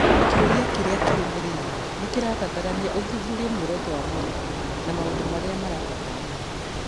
kĩũria kĩrĩa kĩrũmĩrĩire nĩ kĩrabatarania ũthuthurie muoroto wa mwarimũ na maũndũ marĩa marabatarania